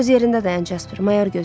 Öz yerində dayan, Casper.